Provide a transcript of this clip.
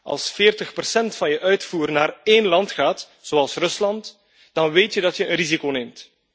Als 40 procent van je uitvoer naar één land gaat, zoals Rusland, dan weet je dat je een risico neemt.